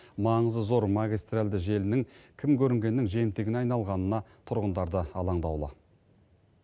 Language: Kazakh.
маңызы зор магистральды желінің кім көрінгеннің жемтігіне айналғанына тұрғындар да алаңдаулы